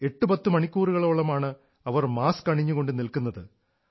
എട്ട് പത്ത് മണിക്കൂറുകളോളമാണ് അവർ മാസ്ക് അണിഞ്ഞുകൊണ്ട് നിൽക്കുന്നത്